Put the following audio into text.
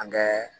An kɛ